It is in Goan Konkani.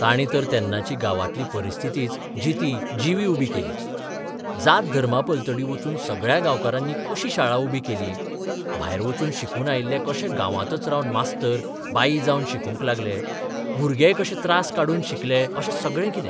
तांणी तर तेन्नाची गांवांतली परिस्थितीच जिती जिवी उबी केली जात धर्मापलतर्डी वचून सगळ्या गांवकारांनी कशी शाळा उबी केली, भायर बचून शिकून आयिल्ले कशे गांवांतच रावन मास्तर बाई जावन शिकोवंक लागले, भुरगेय कशे त्रास काडून शिकले अशें सगळें कितें.